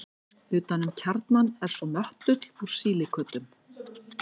utan um kjarnann er svo möttull úr sílíkötum